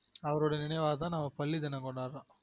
அவரொட நினைவா தான் நம்ம பள்ளி தினம் கொண்டாடுறொம்